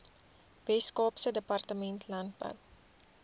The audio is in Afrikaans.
weskaapse departement landbou